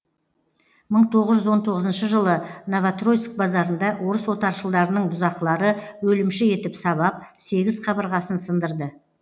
мың тоғыз жүз он тоғызыншы жылы новотроицк базарында орыс отаршылдарының бұзақылары өлімші етіп сабап сегіз қабырғасын сындырды